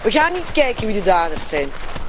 We gaan niet kijken wie de daders zijn.